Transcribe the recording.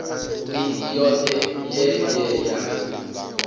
miḓi yothe ye ye ya